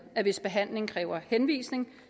at hvis behandling kræver henvisning